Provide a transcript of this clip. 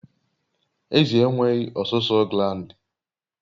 Ezi enweghị ọsụsọ gland